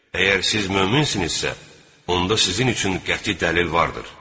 Əgər siz möminsinizsə, onda sizin üçün qəti dəlil vardır.